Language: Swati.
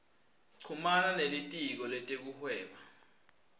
chumana nelitiko letekuhweba